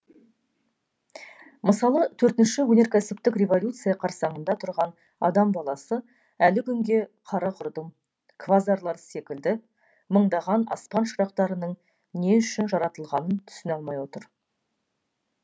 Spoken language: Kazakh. мысалы төртінші өнеркәсіптік революция қарсаңында тұрған адам баласы әлі күнге қара құрдым квазарлар секілді мыңдаған аспан шырақтарының не үшін жаратылғанын түсіне алмай отыр